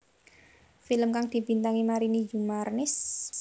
Film kang dibintangi Marini Zumarnis